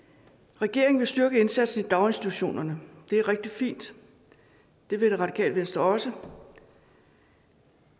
regeringen vil styrke indsatsen i daginstitutionerne det er rigtig fint det vil det radikale venstre også